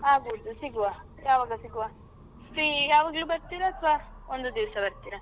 ಆಗಬೋದು ಸಿಗುವ ಯಾವಾಗ ಸಿಗುವ? ಶ್ರೀ ಯಾವಾಗ್ಲೂ ಬರ್ತಿರ ಅತ್ವ ಒಂದು ದಿವ್ಸ ಬರ್ತಿರ.